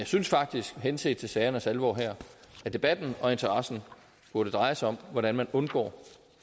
synes faktisk henset til sagernes alvor her at debatten og interessen burde dreje sig om hvordan man undgår